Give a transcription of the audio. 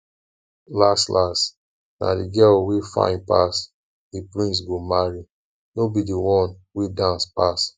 las las na the girl wey fine pass the prince go marry no be the one wey dance pass